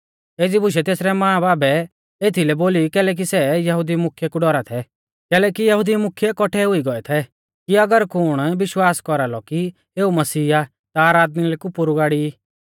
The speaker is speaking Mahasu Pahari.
एज़ी बुशै तेसरै मांबाबै एथीलै बोली कैलैकि सै यहुदी मुख्यै कु डौरा थै कैलैकि यहुदी मुख्यै कौट्ठै हुई गौऐ थै कि अगर कुण विश्वास कौरालौ कि एऊ मसीह आ ता आराधनालय कु पोरु गाड़ी ई